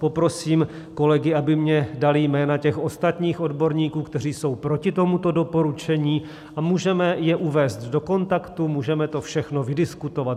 Poprosím kolegy, aby mně dali jména těch ostatních odborníků, kteří jsou proti tomuto doporučení, a můžeme je uvést do kontaktu, můžeme to všechno vydiskutovat.